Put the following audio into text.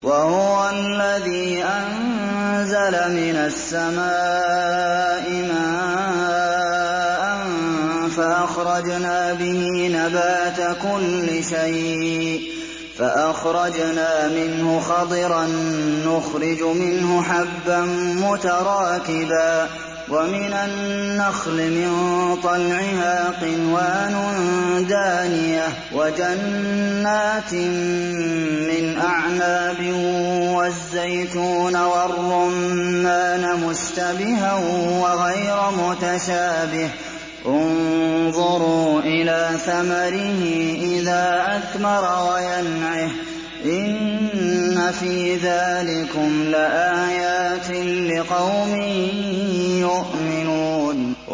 وَهُوَ الَّذِي أَنزَلَ مِنَ السَّمَاءِ مَاءً فَأَخْرَجْنَا بِهِ نَبَاتَ كُلِّ شَيْءٍ فَأَخْرَجْنَا مِنْهُ خَضِرًا نُّخْرِجُ مِنْهُ حَبًّا مُّتَرَاكِبًا وَمِنَ النَّخْلِ مِن طَلْعِهَا قِنْوَانٌ دَانِيَةٌ وَجَنَّاتٍ مِّنْ أَعْنَابٍ وَالزَّيْتُونَ وَالرُّمَّانَ مُشْتَبِهًا وَغَيْرَ مُتَشَابِهٍ ۗ انظُرُوا إِلَىٰ ثَمَرِهِ إِذَا أَثْمَرَ وَيَنْعِهِ ۚ إِنَّ فِي ذَٰلِكُمْ لَآيَاتٍ لِّقَوْمٍ يُؤْمِنُونَ